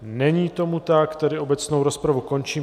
Není tomu tak, tedy obecnou rozpravu končím.